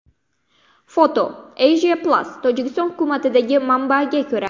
Foto :Asia-Plus Tojikiston hukumatidagi manbaga ko‘ra.